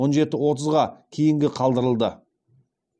он жеті отызға кейінге қалдырылды